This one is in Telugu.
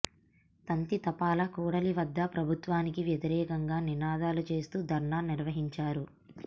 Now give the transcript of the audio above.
తంతి తపాల కూడలి వద్ద ప్రభుత్వానికి వ్యతిరేకంగా నినాదాలు చేస్తూ ధర్నా నిర్వహించారు